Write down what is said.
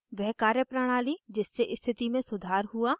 वह कार्यप्रणाली जिससे स्थिति में सुधार हुआ